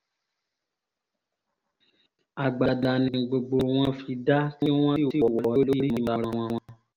agbada ni gbogbo wọn fi dá.